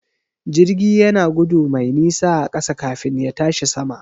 Jirgi yana gudu mai nisa a ƙasa kafin ya tashi sama.